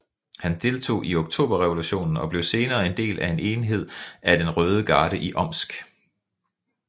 Han deltog i Oktoberrevolutionen og blev senere en del af en enhed af den røde garde i Omsk